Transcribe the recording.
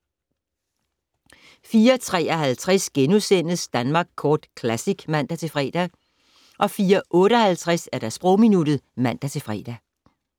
04:53: Danmark Kort Classic *(man-fre) 04:58: Sprogminuttet (man-fre)